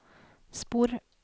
spor